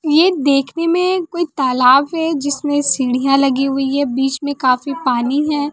ये देखने में कोई तालाब है जिसमें सीढ़ियां लगी हुई है बीच में काफी पानी है।